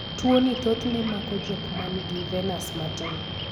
tuoni thothne mako jok man gi venas matin